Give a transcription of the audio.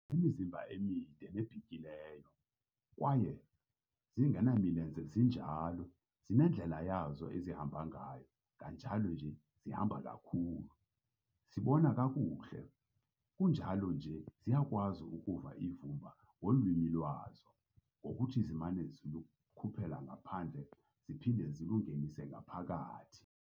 Zinemizimba emide nebhityileyo, kwaye, zingenamilenze zinjalo, zinendlela yazo ezihamba ngayo kunjalo nje zihamba kakhulu. Zibona akuhle, kunjalo nje ziyakwazi ukuva ivumba ngolwimi lwazo ngokuthi ziman'ukulikhuphela ngaphandle ziphinde zilungenise ngaphakathi.